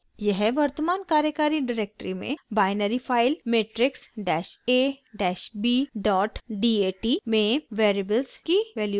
यह वर्तमान कार्यकारी डिरेक्टरी में binary file matrix dash a dash b dot dat matrixabdat में वेरिएबल्स की वैल्यूज़ को सेव करता है